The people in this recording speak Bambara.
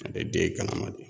Ale den